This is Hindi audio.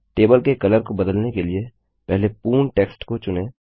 टेबल के कलर को बदलने के लिए पहले पूर्ण टेक्स्ट को चुनें